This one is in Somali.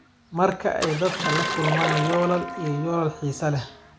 Marka ay dadku la kulmaan yoolal iyo yoolal xiiso leh.